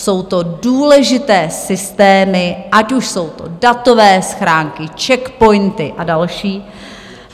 Jsou to důležité systémy, ať už jsou to datové schránky, CzechPOINTy a další.